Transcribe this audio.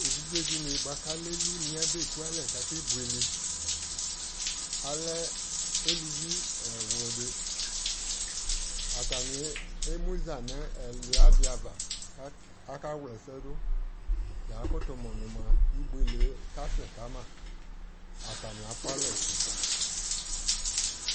ɛvidzɛ dini bʋakʋ alɛ ɛlʋni abɛ kʋalɛ kʋ akɛ bʋɛlɛ, alɛ alʋvi ɛwlʋdi, atani ɛmʋza nʋ ɛlʋia di aɣa kʋ aka wla ɛsɛ dʋ ya kʋtʋ mʋ nʋ mʋa ɛbʋɛlɛ kasɛ kama, atami aƒʋ alɛ ɛsɛ